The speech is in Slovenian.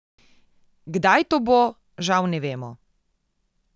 Kdaj to bo, žal ne vemo.